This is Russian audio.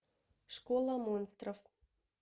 школа монстров